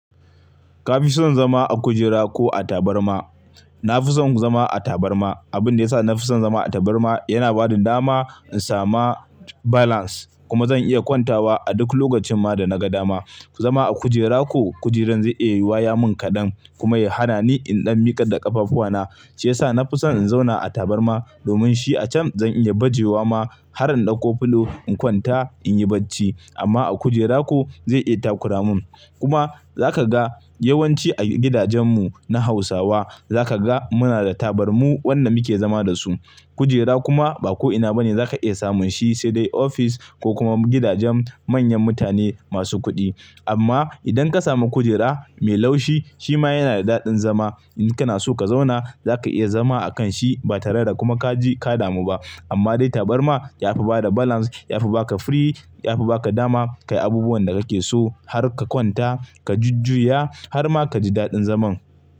Kafi son zama a kujera ko a tabarma? Nafison zama a tabarma. Abinda yasa nafison zama a tabarma yana bada dama in sama balance kuma zan iya kwantawa a duk lokacin ma da na ga dama. Zama a kujera ko kujerar zai iya waya mun kadan kuma ya hana ni in ɗan miƙar da ƙafafuwa na. Shi yasa nafison in zauna a tabarma domin shi a can zan iya bajewa ma har in ɗauko filo in kwanta in yi bacci amma a kujera ko zai iya takura mun. Kuma zaka ga yawanci a gidajen mu na hausawa, zaka ga muna da tabarmu wannan muke zama da su. Kujera kuma ba ko ina bane zaka iya samun shi, sai dai ofis ko kuma gidajen manyan mutane masu kuɗi. Amma idan ka samu kujera mai laushi shi ma yana da daɗin zama. In kana so ka zauna zaka iya zama akan shi ba tare da kuma kaji ka damu ba. Amma dai tabarma yafi bada balance, yafi baka firii, yafi baka dama kayi abubuwan da kake so har ka kwanta ka jujjuya har ma kaji daɗin zaman.